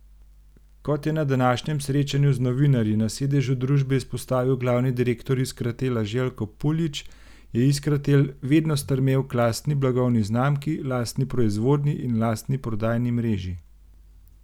Kot je na današnjem srečanju z novinarji na sedežu družbe izpostavil glavni direktor Iskratela Željko Puljić, je Iskratel vedno stremel k lastni blagovni znamki, lastni proizvodnji in lastni prodajni mreži.